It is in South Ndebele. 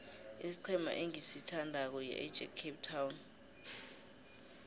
isiqhema engisithandako yiajax cape town